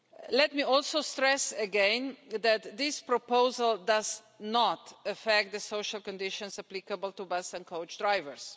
Let me also stress again that this proposal does not affect the social conditions applicable to bus and coach drivers.